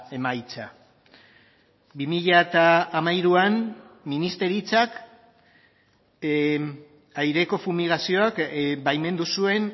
emaitza bi mila hamairuan ministeritzak aireko fumigazioak baimendu zuen